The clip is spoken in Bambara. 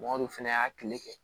Mɔgɔ dun fɛnɛ y'a kile kɛ